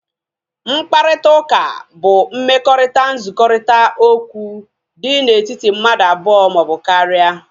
Mkparịta ụka bụ mmekọrita nzukọrita okwu dị na etiti mmadụ abụọ maọbụ karịa